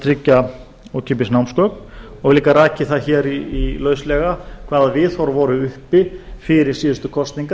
að tryggja ókeypis námsgögn og líka rakið það hér lauslega hvaða viðhorf voru uppi fyrir síðustu kosningar